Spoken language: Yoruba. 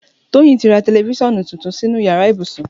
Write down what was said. Toyin ti rà tẹlẹfiṣọnu tútún sinú iyàrá ibúsún